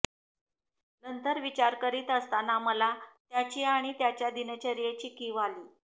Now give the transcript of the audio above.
नंतर विचार करीत असताना मला त्याची आणि त्याच्या दिनचर्येची कीव आली